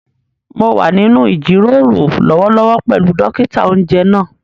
Mo wà nínú ìjíròrò lọ́wọ́lọ́wọ́ pẹ̀lú dókítà-oúnjẹ náà